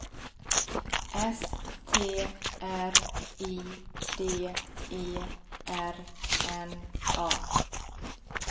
S T R I D E R N A